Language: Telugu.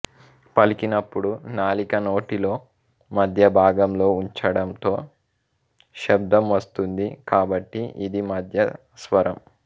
పలికినప్పుడు నాలిక నోటీలో మధ్య భాగంలో ఉంచటంతో శబ్దం వస్తుంది కాబట్టి ఇది మధ్యస్వరం